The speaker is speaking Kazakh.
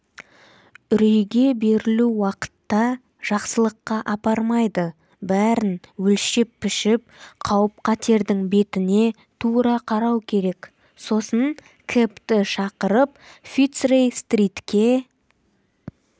үрейге берілу уақытта жақсылыққа апармайды бәрін өлшеп-пішіп қауіп-қатердің бетіне тура қарау керек сосын кэбті шақырып фицрей-стритке